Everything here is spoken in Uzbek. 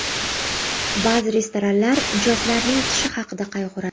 Ba’zi restoranlar mijozlarning tishi haqida qayg‘uradi.